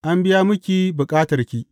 An biya miki bukatarki.